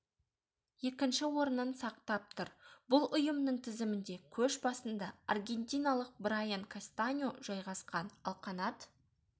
екінші орнын сақтап тұр бұл ұйымның тізімінде көш басында аргентиналық брайан кастаньо жайғасқан ал қанат